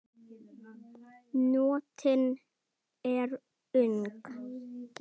Nóttin er ung